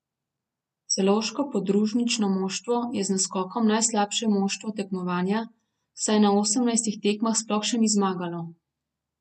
Celovško podružnično moštvo je z naskokom najslabše moštvo tekmovanja, saj na osemnajstih tekmah sploh še ni zmagalo.